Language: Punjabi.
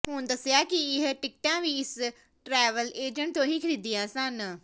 ਉਨ੍ਹਾਂ ਦੱਸਿਆ ਕਿ ਇਹ ਟਿਕਟਾਂ ਵੀ ਇਸ ਟਰੈਵਲ ਏਜੰਟ ਤੋਂ ਹੀ ਖਰੀਦੀਆਂ ਸਨ